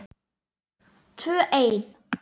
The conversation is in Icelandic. Tvö ein.